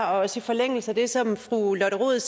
også i forlængelse af det som fru lotte rod